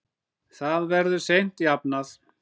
Það verður seint jafnað.